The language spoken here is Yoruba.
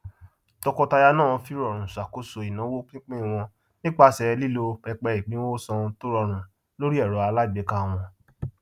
tọkọtaya náà fìrọrùn ṣàkóso ináwó pínpín wọn nípasẹ lílo pẹpẹ ìpínwónsan tórọrùn lórí ẹrọ alágbèéká wọn